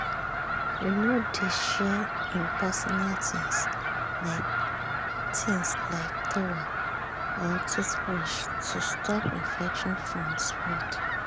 e no dey share im personal things like things like towel or toothbrush to stop infection from spread.